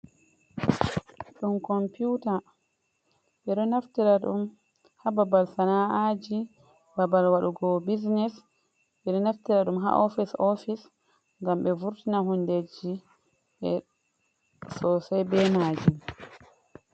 Ɗum komputa. Ɓeɗo naftira ɗum ha babal sana'aji, babal waɗugo business, ɓeɗo naftira ɗum ha ofis-ofis ngam ɓe vurtina hundeji sosai be majum.